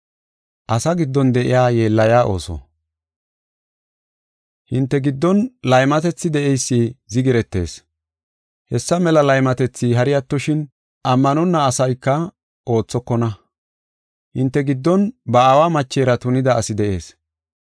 Hinte giddon laymatethi de7eysi zigiretees. Hessa mela laymatethi hari attoshin, ammanonna asayka oothokona. Hinte giddon ba aawa machera tunida asi de7ees.